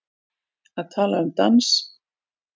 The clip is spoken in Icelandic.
Að tala um dans